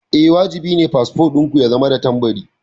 Eh, wajibi ne fasfo ɗin ku ya zama da tambari.